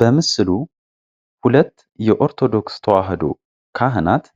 በምስሉ ሁለት የኦርቶዶክስ ተዋህዶ ካህናት